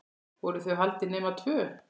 Voru þau haldin nema tvö?